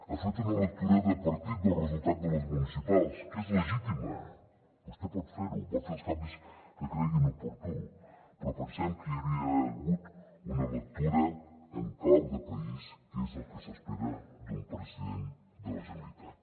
ha fet una lectura de partit del resultat de les municipals que és legitima vostè pot fer ho pot fer els canvis que cregui oportú però pensem que hi hauria d’haver hagut una lectura en clau de país que és el que s’espera d’un president de la generalitat